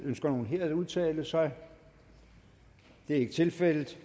ønsker nogen her at udtale sig det er ikke tilfældet